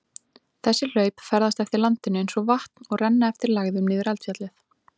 Þessi hlaup ferðast eftir landinu eins og vatn og renna eftir lægðum niður eldfjallið.